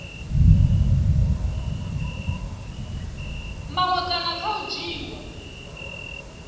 maṅwe kana kha u dzhiiwa